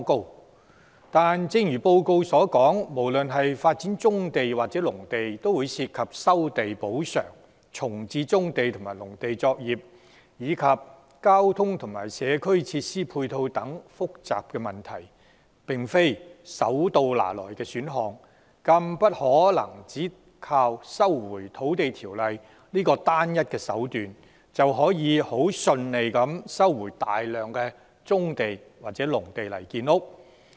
可是，正如該報告所述，無論是發展棕地或農地，均涉及收地補償，重置棕地及農地作業，以及交通和社區設施配套等複雜問題，並非手到拿來的選項，更不能只靠《收回土地條例》這個單一手段，便可很順利地收回大量棕地或農地用作建屋。